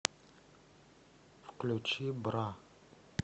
включи бра